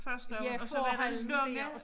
Ja forhallen der